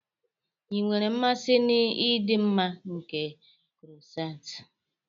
Ị nwere mmasị na ịdị mma nke croissants.